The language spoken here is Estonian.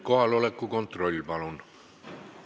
Kohaloleku kontroll, palun!